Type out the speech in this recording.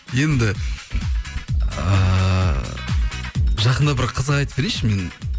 енді ыыы жақында бір қызық айтып берейінші мен